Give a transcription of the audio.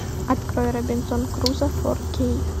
открой робинзон крузо фор кей